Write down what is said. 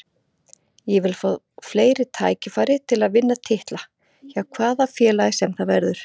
Ég vil fá fleiri tækifæri til að vinna titla, hjá hvaða félagi sem það verður.